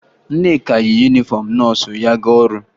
Nneka yi yunifọmụ nọọsụ ya aga ọrụ